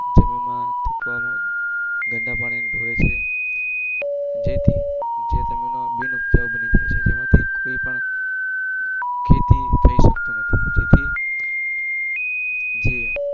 જીમીનમાં જેથી જે જમીન બિન ઉપજવું બની શકે છે જેમાંથી ખેતી થઇ શકતું નથી તેથી જે